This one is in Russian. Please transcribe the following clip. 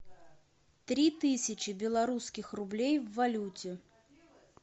три тысячи белорусских рублей в валюте